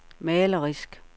malerisk